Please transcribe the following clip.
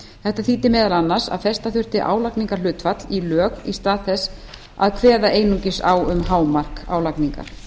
þetta þýddi meðal annars að festa þurfti álagningarhlutfall í lög í stað þess að kveða einungis á um hámark álagningar